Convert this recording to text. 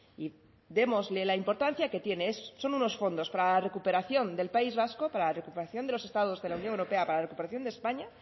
y démosle la importancia que tiene son unos fondos para la recuperación del país vasco para la recuperación de los estados de la unión europea para la recuperación de españa